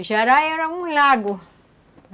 O jará era um lago.